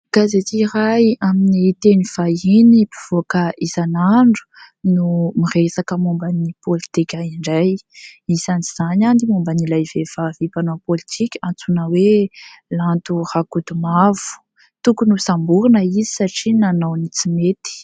Gazety iray amin'ny teny vahiny mpivoaka isan'andro no miresaka momba ny politika indray isany izany ny momban'ilay vehivavy mpanao politika antsoina hoe Lanto Rakotomanga tokony hosamborina izy satria nanao ny tsy mety.